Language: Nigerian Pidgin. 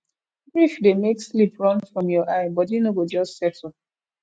grief dey make sleep run from your eye body no go just settle